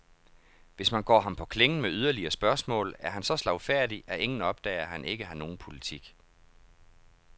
Hvis man går ham på klingen med yderligere spørgsmål, er han så slagfærdig, at ingen opdager, at han ikke har nogen politik.